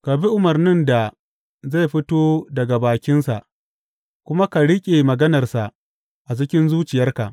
Ka bi umarnin da zai fito daga bakinsa kuma ka riƙe maganarsa a cikin zuciyarka.